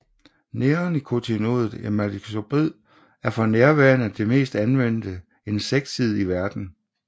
Neonikotinoidet imidacloprid er for nærværende det mest anvendte insekticid i verden